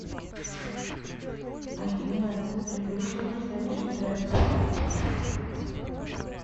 афина переключи на следущий трек